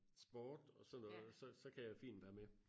Sport og sådan noget så kan jeg fint være med